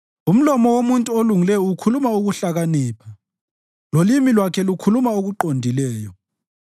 Umlomo womuntu olungileyo ukhuluma ukuhlakanipha, lolimi lwakhe lukhuluma okuqondileyo.